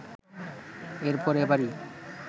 এরপর এবারই